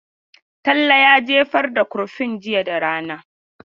Talle ya jefar da kurfin jiya da rana.